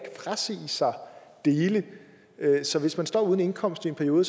frasige sig dele så hvis man står uden indkomst i en periode